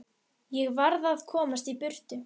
Ég varð að komast í burtu.